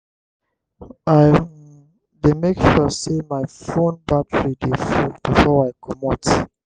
i um dey make sure sey my fone battery dey full before i comot.